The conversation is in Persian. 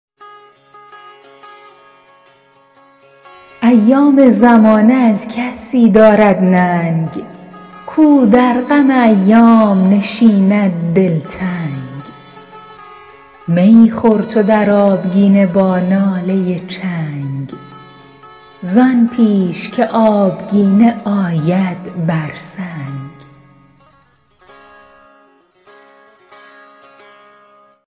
ایام زمانه از کسی دارد ننگ کو در غم ایام نشیند دلتنگ می خور تو در آبگینه با ناله چنگ زان پیش که آبگینه آید بر سنگ